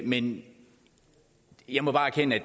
men jeg må bare erkende